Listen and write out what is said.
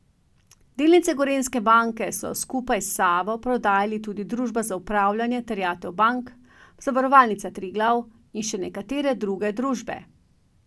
Delnice Gorenjske banke so skupaj s Savo prodajali tudi Družba za upravljanje terjatev bank, Zavarovalnica Triglav in še nekatere druge družbe.